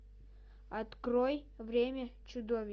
открой время чудовищ